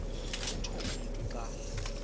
utsho umntu xa